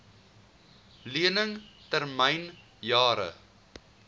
lening termyn jare